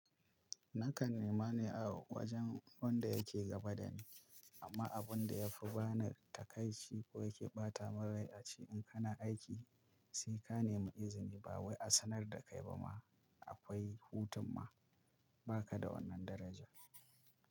Nakan nema ne a wajen wanda yake gaba da ni, amma abun da ya fi bani takaici ko yake ɓata min rai a ce in kana aiki sai ka nemi izini ba wai a sanar da kai ba ma akwai hutun ma, ba ka da wannan daraja.